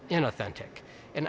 er náð en